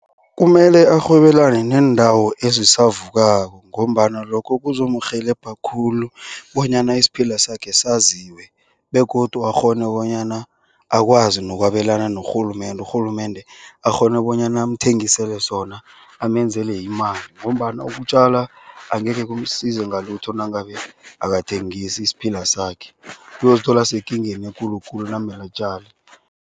Kumele arhwebelane neendawo ezisavukako ngombana lokho kuzomurhelebha khulu bonyana isiphila sakhe saziwe begodu akghone bonyana akwazi nokwabelana norhulumende. Urhulumende akghone bonyana amthengisele sona amenzele imali. Ngombana ukutjala angekhe kumsize ngalithu nangabe akathengisi isiphila sakhe. Uyozithola asekingeni ekulu khulu nakumele atjale.